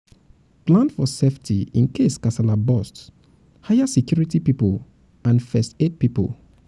plan for safety incase kasala burst hire security pipo and first aid pipo um